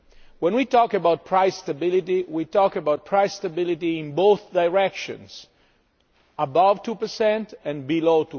When we talk about price stability, we talk about price stability in both directions above 2 and below